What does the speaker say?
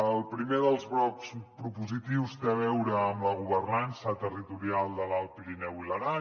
el primer dels blocs propositius té a veure amb la governança territorial de l’alt pirineu i l’aran